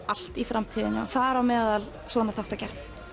allt í framtíðinni þar á meðal svona þáttagerð